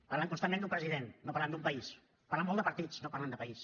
parlen constantment d’un president no parlen d’un país parlen molt de partits no parlen de país